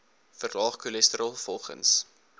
verlaag cholesterol volgens